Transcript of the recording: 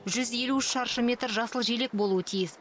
жүз елу үш шаршы метр жасыл желек болуы тиіс